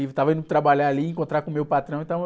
Estava indo trabalhar ali, encontrar com o meu patrão e estava...